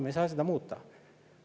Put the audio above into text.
Me ei saa seda muuta.